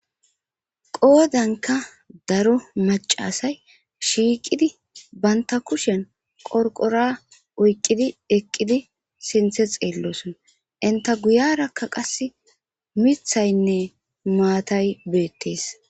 Qodankka darro maccassay shiqqidi bantta kushen qorqqora oyqqidi eqqidi sinthe xelosonna entta guyarakka qassi mithaynne mattay bettees.